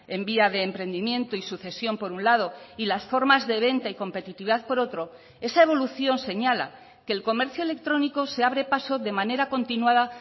en vía de emprendimiento y sucesión por un lado y las formas de venta y competitividad por otro esa evolución señala que el comercio electrónico se abre paso de manera continuada